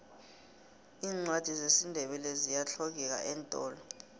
iincwadi zesindebele ziyahlogeka eentolo